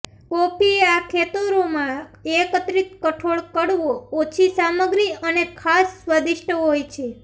coffee આ ખેતરોમાં એકત્રિત કઠોળ કડવો ઓછી સામગ્રી અને ખાસ સ્વાદીષ્ટ હોય છે